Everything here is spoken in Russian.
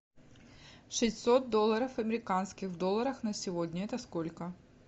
шестьсот долларов американских в долларах на сегодня это сколько